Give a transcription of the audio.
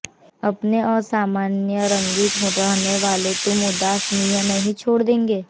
अपने असामान्य रंगीन रहने वालों तुम उदासीन नहीं छोड़ देंगे